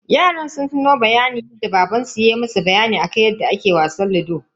Yaran suna tuno bayanin da baban su ya musu akan yadda ake wasan ludo.